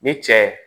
Ni cɛ